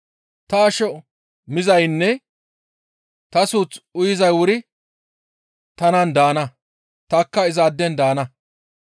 Ta asho mizaynne ta suuth uyizay wuri tanan daana; tanikka izaaden daana.